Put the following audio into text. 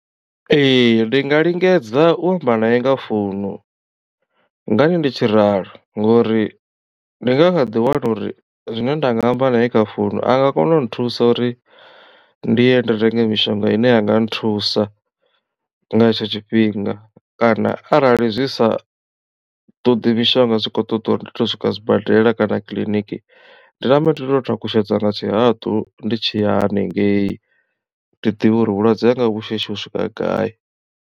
Ee ndi nga lingedza u amba na ye nga founu ngani ndi tshi ralo ngori ndi nga ḓi wana uri zwine nda nga amba na ye kha founu anga kona u nthusa uri ndi ye ndi renge mishonga ine yanga nthusa nga hetsho tshifhinga kana arali zwi sa ṱoḓi mishonga zwi kho ṱoḓa uri ndi to swika zwibadela kana kiḽiniki ndi nambe ndi to takutshedza nga tshihaḓu ndi tshi ya haningei ndi ḓivhe uri vhulwadze hanga hu shishi u swika gai.